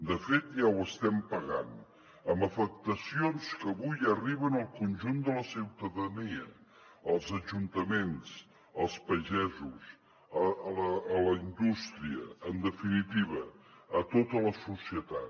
de fet ja ho estem pagant amb afectacions que avui arriben al conjunt de la ciutadania els ajuntaments els pagesos la indústria en definitiva a tota la societat